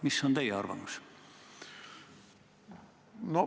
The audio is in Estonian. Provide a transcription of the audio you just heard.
Mis on teie arvamus?